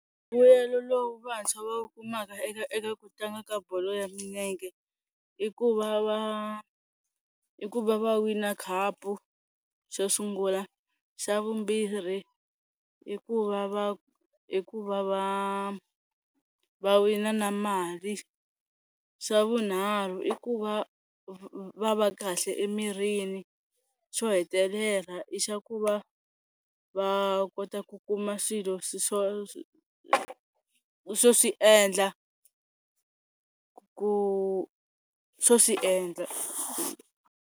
Mbuyelo lowu vantshwa va wu kumaka eka eka ku tlanga ka bolo ya milenge i ku va va i ku va va wina khapu xo sungula, xa vumbirhi i ku va va i ku va va va wina na mali, xa vunharhu i ku va va va kahle emirini, xo hetelela i xa ku va va kota ku kuma swilo swo swo swi endla ku swo swi endla.